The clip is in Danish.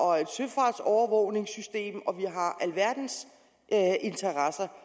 og et søfartsovervågningssystem og vi har alverdens interesser